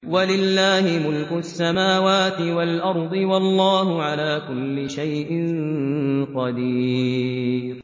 وَلِلَّهِ مُلْكُ السَّمَاوَاتِ وَالْأَرْضِ ۗ وَاللَّهُ عَلَىٰ كُلِّ شَيْءٍ قَدِيرٌ